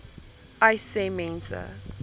uys sê mense